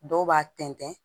Dɔw b'a tɛntɛn